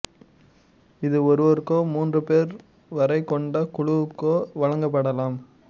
இது ஒருவருக்கோ மூன்று பேர் வரை கொண்ட குழுவுக்கோ வழங்கப்படலாம்